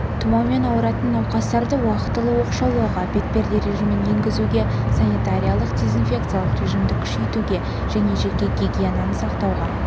тұмаумен ауыратын науқастарды уақытылы оқшаулауға бетперде режимін енгізуге санитариялық-дезинфекциялық режимді күшейтуге және жеке гигиенаны сақтауға